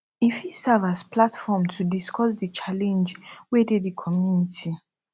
e fit serve as platform to take discuss di challenge wey dey di community